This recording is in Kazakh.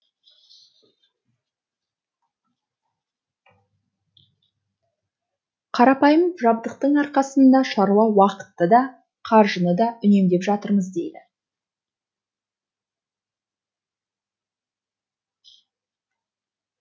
қарапайым жабдықтың арқасында шаруа уақытты да қаржыны да үнемдеп жатырмыз дейді